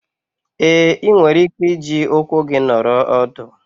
Ee, ị nwere ike iji ụkwụ gị nọrọ ọdụ.